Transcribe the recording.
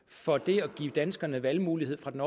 for det at give danskerne valgmulighed fra den